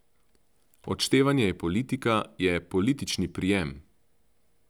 Odštevanje je politika, je politični prijem.